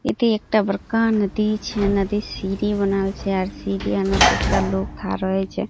इ ते एता बरका नदी छे नदी ।